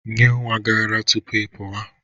Nyee nwa gị ara tupu ị pụwa!